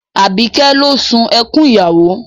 Àbíkẹ́ ló sun ẹkún ìyàwó